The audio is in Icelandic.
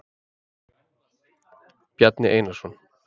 Bjarni Einarsson.